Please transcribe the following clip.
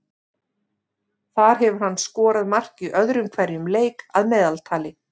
Þar hefur hann skorað mark í öðrum hverjum leik að meðaltali.